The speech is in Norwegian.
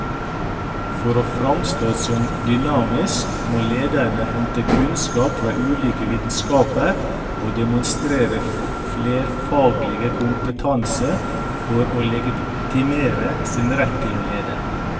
For å framstå som dynamiske må lederne hente kunnskap fra ulike vitenskaper og demonstrere flerfaglig kompetanse for å legitimere sin rett til å lede.